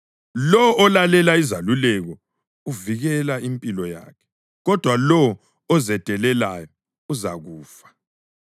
Lowo olalela izeluleko uvikela impilo yakhe, kodwa lowo ozedelelayo uzakufa.